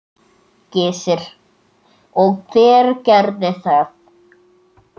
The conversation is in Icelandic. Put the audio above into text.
Gissur: Og hver gerði það?